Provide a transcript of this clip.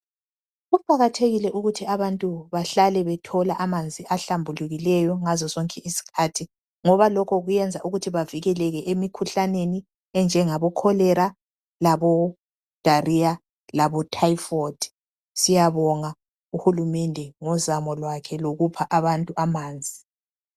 Kuqakathekile ukuthi abantu bahlale bethola amanzi ahlambulukileyo ngazo zonke izikhathi. Ngoba lokhu kuyenza ukuthi bavikeleke emikhuhlaneni enjengabo kholera, labodariya labothayifodi. Siyabonga uhulumende ngozamo lwakhe lokupha abantu amanzi.